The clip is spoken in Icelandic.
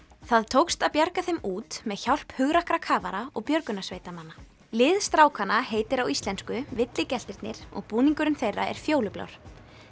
það tókst að bjarga þeim út með hjálp hugrakkra kafara og björgunarsveitarmanna lið strákanna heitir á íslensku og búningurinn þeirra er fjólublár